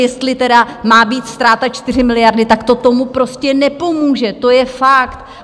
Jestli tedy má být ztráta 4 miliardy, tak to tomu prostě nepomůže, to je fakt.